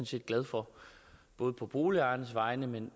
set glad for både på boligejernes vegne men